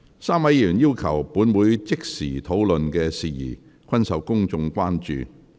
三位議員要求本會即時討論的事宜均受公眾關注。